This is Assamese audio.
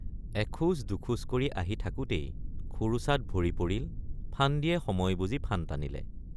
এখোজ দুখোজ কৰি আহি থাকোঁতেই খোৰোচাত ভৰি পৰিল ফান্দিয়ে সময় বুজি ফান টানিলে।